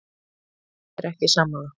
Ég er ekki sammála.